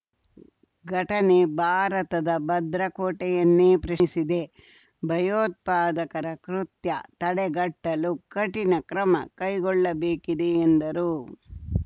ಘಟನೆ ಭಾರತದ ಭದ್ರ ಕೋಟೆಯನ್ನೇ ಪ್ರಶ್ನಿಸಿದೆ ಭಯೋತ್ಪಾದಕರ ಕೃತ್ಯ ತಡೆಗಟ್ಟಲು ಕಠಿಣ ಕ್ರಮ ಕೈಗೊಳ್ಳಬೇಕಿದೆ ಎಂದರು